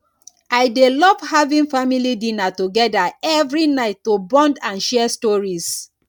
i dey love having family dinner together every night to bond and share stories